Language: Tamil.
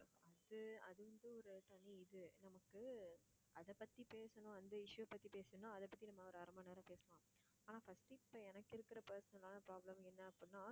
வந்து அதுவந்து ஒரு தனி இது நமக்கு அதைப் பத்தி பேசணும் அந்த issue பத்தி பேசணும் அதைப் பத்தி நம்ம ஒரு அரை மணி நேரம் பேசலாம். ஆனா first இப்ப எனக்கு இருக்கற personal ஆன problem என்ன அப்படின்னா